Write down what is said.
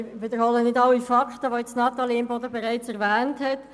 Ich wiederhole nicht alle Fakten, die Natalie Imboden bereits erwähnt hat.